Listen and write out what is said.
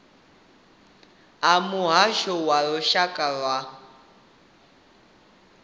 a muhasho wa lushaka wa